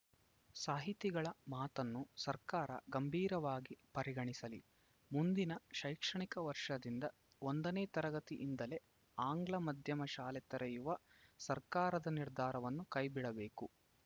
ಸಾಹಿತಿಗಳ ಮಾತನ್ನು ಸರ್ಕಾರ ಗಂಭೀರವಾಗಿ ಪರಿಗಣಿಸಲಿ ಮುಂದಿನ ಶೈಕ್ಷಣಿಕ ವರ್ಷದಿಂದ ಒಂದನೇ ತರಗತಿಯಿಂದಲೇ ಆಂಗ್ಲ ಮಾಧ್ಯಮ ಶಾಲೆ ತೆರೆಯುವ ಸರ್ಕಾರದ ನಿರ್ಧಾರಮ್ನ ಕೈಬಿಡಬೇಕು